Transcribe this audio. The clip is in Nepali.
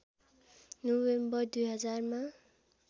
नोभेम्बर २००० मा